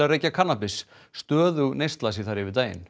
reykja kannabis stöðug neysla sé þar yfir daginn